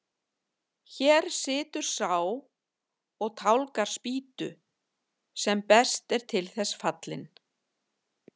Hér situr sá og tálgar spýtu sem best er til þess fallinn.